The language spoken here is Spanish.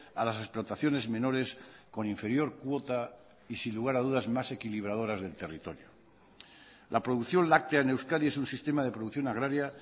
a las explotaciones menores con inferior cuota y sin lugar a dudas más equilibradoras del territorio la producción láctea en euskadi es un sistema de producción agraria